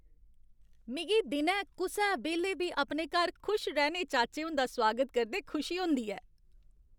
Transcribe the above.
मिगी दिनै, कुसै बेल्लै बी अपने घर खुशरैह्ने चाचे हुंदा सुआगत करदे खुशी होंदी ऐ।